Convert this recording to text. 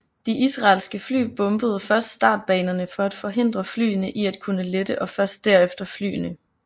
De israelske fly bombede først startbanerne for at forhindre flyene i at kunne lette og først derefter flyene